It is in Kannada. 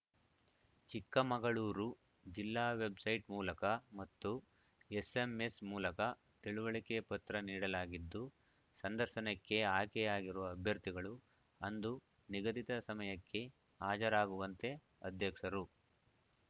ಚಿಕ್ಕಮಗಳೂರು ಜಿಲ್ಲಾ ವೆಬ್‌ಸೈಟ್‌ ಮೂಲಕ ಮತ್ತು ಎಸ್‌ಎಂಎಸ್‌ ಮೂಲಕ ತಿಳುವಳಿಕೆ ಪತ್ರ ನೀಡಲಾಗಿದ್ದು ಸಂದರ್ಶನಕ್ಕೆ ಆಯ್ಕೆಯಾಗಿರುವ ಅಭ್ಯರ್ಥಿಗಳು ಅಂದು ನಿಗಧಿತ ಸಮಯಕ್ಕೆ ಹಾಜರಾಗುವಂತೆ ಅಧ್ಯಕ್ಷರು